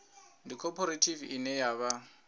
ndi khophorethivi ine ya vha